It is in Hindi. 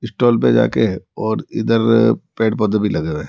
स्टॉल पे जा के और इधर पेड़ पौधे भी लगे हुए हैं।